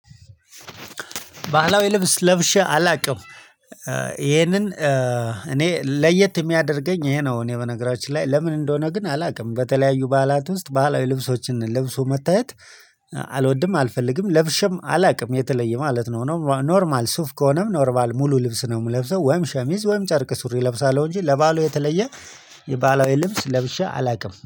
ባህላዊ ልብስ ለብሼ አላውቅም። ይሄንን እኔ ለየት የሚያደርገኝ ይሄ ነው። እኔ በነገራችን ላይ ለምን እንደሆነ ግን አላውቅም። በተለያዩ በዓላት ውስጥ በዓላዊ ልብሶችን ልብሶ መታየት አልወድም አልፈልግም ለብሸም አላውቅም። የተለየ ማለት ነው። ኖርማል ሱፍ ከሆነም ኖርማል ሙሉ ልብስ ነው የምለብሰው ወይም ሸሚዝ ወይም ጨርቅ ሱሪ እለብሳለሁ። እንጂ ለበአሉ የተለየ የባህላዊ ልብስ ለብሼ አላውቅም